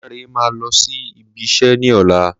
Láńrẹ máa lọ sí ibi iṣẹ́ ní ọ̀la